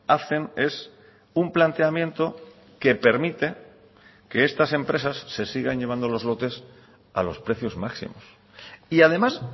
hacen es un planteamiento que permite que estas empresas se sigan llevando los lotes a los precios máximos y además